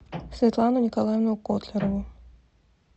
светлану николаевну котлярову